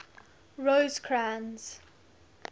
rosecrans